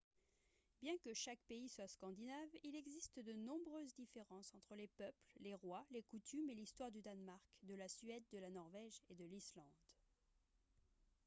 bien que chaque pays soit « scandinave » il existe de nombreuses différences entre les peuples les rois les coutumes et l'histoire du danemark de la suède de la norvège et de l'islande